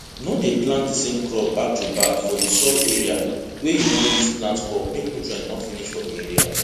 no dey plant di same crop backtoback for di soil area wey you wan use plant crop make nutrient no finish for di area